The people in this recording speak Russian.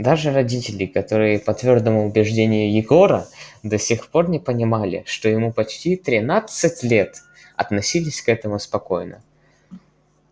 даже родители которые по твёрдому убеждению егора до сих пор не понимали что ему почти тринадцать лет относились к этому спокойно